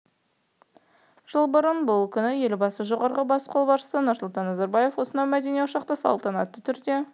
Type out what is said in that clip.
жыл бұрын бұл күні елбасы жоғарғы бас қолбасшысы нұрсұлтан назарбаев осынау мәдени ошақты салтанатты түрде